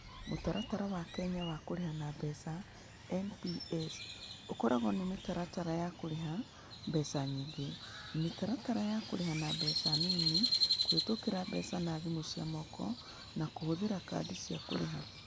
Mũtaratara wa Kenya wa kũrĩha na mbeca (NPS) ũkoragwo na mĩtaratara ya kũrĩha na mbeca nyingĩ, mĩtaratara ya kũrĩha na mbeca nini, kũhĩtũkĩra mbeca na thimũ cia moko, na kũhũthĩra kadi cia kũrĩha.